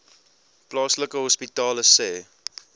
plaaslike hospitale sê